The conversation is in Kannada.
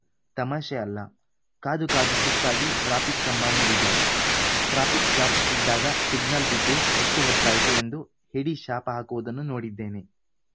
ತಮಾಷೆ ಅಲ್ಲ ಕಾದು ಕಾದು ಸುಸ್ತಾಗಿ ಟ್ರಾಫಿಕ್‌ ಕಂಬ ಮುರಿದ ಟ್ರಾಫಿಕ್‌ ಜಾಮ್‌ ಇದ್ದಾಗ ಸಿಗ್ನಲ್‌ ಬಿದ್ದು ಎಷ್ಟುಹೊತ್ತಾಯ್ತು ಎಂದು ಹಿಡಿ ಶಾಪ ಹಾಕುವುದನ್ನು ನೊಡಿದ್ದೇನೆ